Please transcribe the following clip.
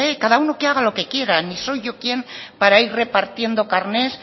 cada uno que haga lo que quiera ni soy yo quien para ir repartiendo carnets